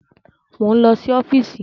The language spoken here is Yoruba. Mo ń lọ sí ọ́fíìsì